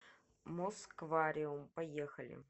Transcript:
москвариум поехали